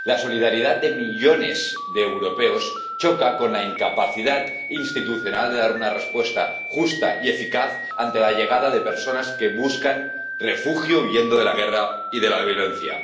La solidaridad de millones de europeos choca con la incapacidad institucional de dar una respuesta justa y eficaz ante la llegada de personas que buscan refugio huyendo de la guerra y de la violencia.